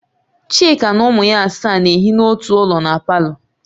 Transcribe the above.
Chika na ụmụ ya asaa na-ehi na ọtụ ụlọ na palọ